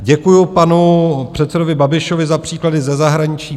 Děkuji panu předsedovi Babišovi za příklady ze zahraničí.